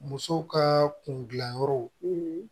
Muso ka kundilanyɔrɔ